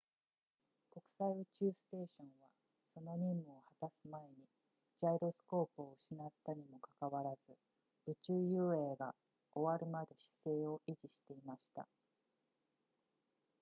国際宇宙ステーションはその任務を果たす前にジャイロスコープを失ったにもかかわらず宇宙遊泳が終わるまで姿勢を維持していました